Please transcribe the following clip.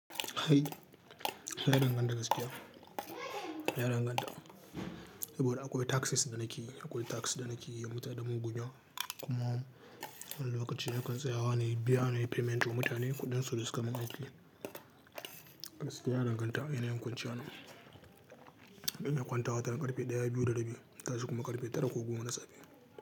Ai, ya danganta da gaskiya. Ya danganta. Saboda akwai tasks da nake yi, akwai task da nake yi wa mutane don mu biya. Kuma wani lokaci na kan tsayawa ne, biya nayi payment to mutane kuɗin su da suka min aiki. Gaskiya ya danganta yanayin kwanciyana. Ina kwanta watan ƙarfe ɗaya, biyu da rabi. Ta shi kuma ƙarfe tara ko goma na safe.